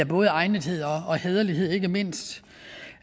både egnethed og hæderlighed ikke mindst